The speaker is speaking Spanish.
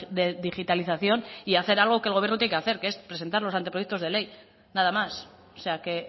de digitalización y hacer algo que el gobierno tiene que hacer que es presentar los anteproyectos de ley nada más o sea que